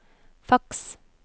faks